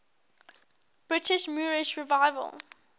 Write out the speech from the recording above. britain's moorish revival